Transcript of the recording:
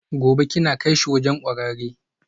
Gobe ​​kina kaishi wurin kwararre?